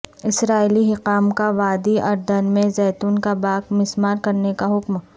اسرائیلی حکام کا وادی اردن میں زیتون کا باغ مسمار کرنے کاحکم